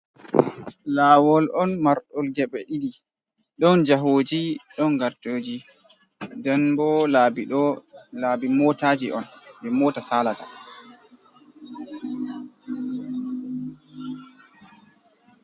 Kawol on martdol gebe didi, don jahoji don gartoji den bo laabi motaji on be mota salata.